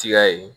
Tiya ye